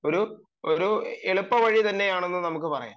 ഒരു എളുപ്പവഴി തന്നെയാണെന്ന് നമുക്ക്‌ പറയാം